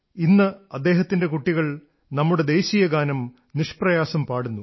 ഇന്ന് അദ്ദേഹത്തിന്റെ കുട്ടികൾ നമ്മുടെ ദേശീയഗാനം നിഷ്പ്രയാസം പാടുന്നു